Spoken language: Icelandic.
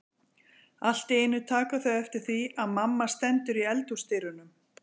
Allt í einu taka þau eftir því að mamma stendur í eldhúsdyrunum.